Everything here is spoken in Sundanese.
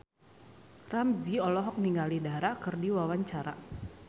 Ramzy olohok ningali Dara keur diwawancara